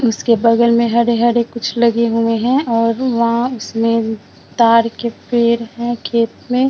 उसके बगल में हरे-हरे कुछ लगे हुए हैं और वहां उसमे ताड़ के पेड़ हैं खेत में।